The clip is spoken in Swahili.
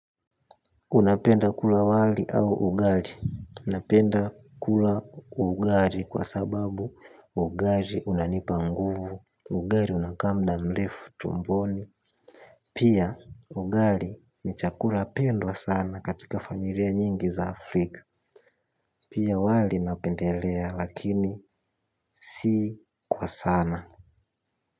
Unapenda kula wali au ugali. Napenda kula ugali kwa sababu ugali unanipa nguvu. Ugali unakaa muda mrefu tumboni. Pia ugali ni chakula pendwa sana katika familia nyingi za Afrika. Pia wali napendelea lakini si kwa sana.